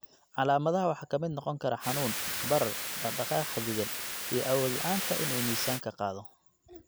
Calaamadaha waxaa ka mid noqon kara xanuun, barar, dhaqdhaqaaq xaddidan, iyo awood la'aanta in uu miisaanka qaado.